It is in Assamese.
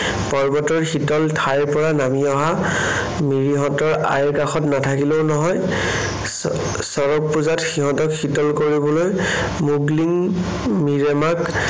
পৰ্বতৰ শীতল ঠাইৰ পৰা নামি অহা, মিৰিহঁতৰ আইৰ কাষত নাথাকিলেও নহয়। চচৰগ পূজাত সিহঁতক শীতল কৰিবলৈ মুগলীং মিৰেমাক